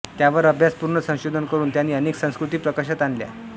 त्यावर अभ्यासपूर्ण संशोधन करून त्यांनी अनेक संस्कृती प्रकाशात आणल्या